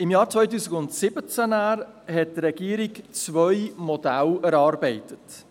Im Jahr 2017 hat die Regierung zwei Modelle erarbeitet.